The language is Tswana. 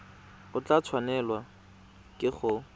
o tla tshwanelwa ke go